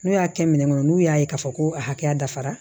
N'u y'a kɛ minɛn kɔnɔ n'u y'a ye k'a fɔ ko a hakɛya dafara